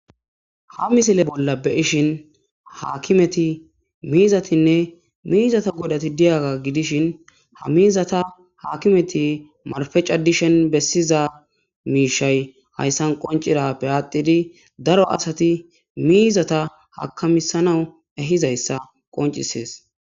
ha misile bolla beyishin haakimeti miizatinne miizata godati diyaga gidishin ha miizata haakimeti marfecadishen bessiza miishay hayssan qoncirappe aatidi daro asati miizata hakamisanau ehizayssa qoncisees